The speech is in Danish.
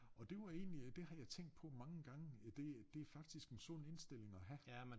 Og det var egentlig øh det har jeg tænkt på mange gange øh det det faktisk en sund indstilling at have